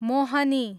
मोहनी